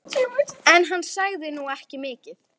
En hann sagði nú ekki mikið.